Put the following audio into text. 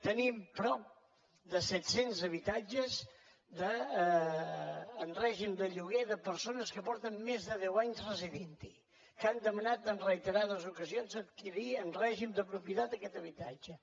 tenim prop de set cents habitatges en règim de lloguer de persones que fa més de deu anys que hi resideixen que han demanat en reiterades ocasions adquirir en règim de propietat aquest habitatge